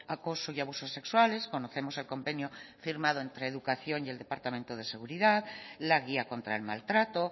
acoso y abusos sexuales conocemos el convenio firmado entre educación y el departamento de seguridad la guía contra el maltrato